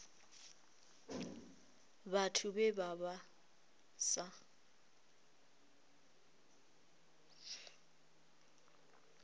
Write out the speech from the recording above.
vhathu vhe vha vha sa